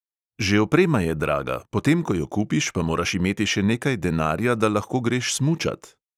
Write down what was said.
Že oprema je draga, potem ko jo kupiš, pa moraš imeti še nekaj denarja, da lahko greš smučat.